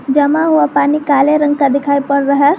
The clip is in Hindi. जमा हुआ पानी काले रंग का दिखाई पड़ रहा है।